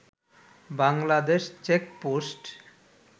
Bangladesh checkpost